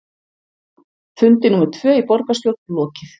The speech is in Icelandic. Fundi númer tvö í borgarstjórn lokið